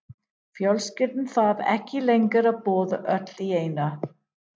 Fjölskyldan þarf ekki lengur að borða öll í einu.